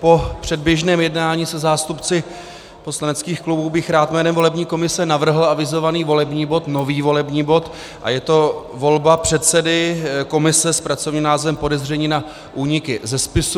Po předběžném jednání se zástupci poslaneckých klubů bych rád jménem volební komise navrhl avizovaný volební bod, nový volební bod, a je to volba předsedy komise s pracovním názvem podezření na úniky ze spisů.